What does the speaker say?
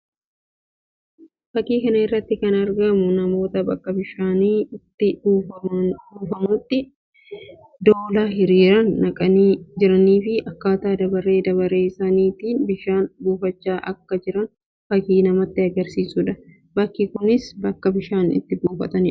Fakkii kana irratti kan argamu namoota bakka bishaanni itti buufamutti doolaa hiriiraan naqanii jiranii fi akkaataa dabaree dabaree isaaniitti bishaan buufachaa akka jiran fakkii namatti agarsiisuu dha. Bakki isaas bakka itti bishaan buufatanii dha.